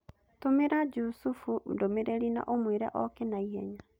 Tũmĩra Jusufu ndũmĩrĩri na ũmwĩre oke na ihenya